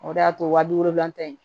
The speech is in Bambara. O de y'a to waaji wolonwulan ta in